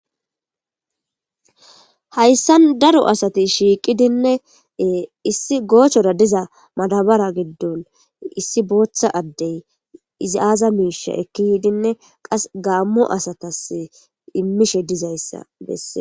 Hayssan daro asati shiiqidinne issi goochora diza madaabara giddon issi bootha addey izi aaza miisha ekki yiidinne qas gammo asatas imiishe dizayssa besees.